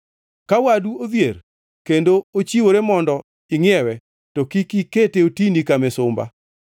Ka wadu odhier kendo ochiwore mondo ingʼiewe, to kik ikete otini ka misumba.